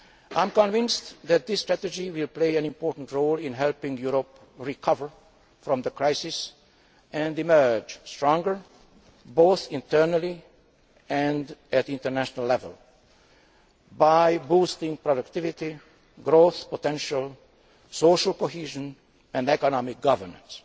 I am convinced that this strategy will play an important role in helping Europe recover from the crisis and emerge stronger, both internally and at international level, by boosting productivity, growth potential, social cohesion and economic governance.